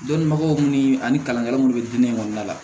Dɔnnibaw ni ani kalankɛlaw minnu bɛ diinɛ kɔnɔna la